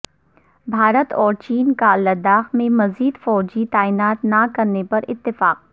بھارت اور چین کا لداخ میں مزید فوجی تعینات نہ کرنے پر اتفاق